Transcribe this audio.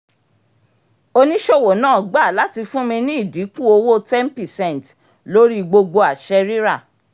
oníṣòwò náà gba láti fún mi ní ìdínkù owó ten percent lórí gbogbo àṣẹ rírà